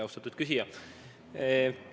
Austatud küsija!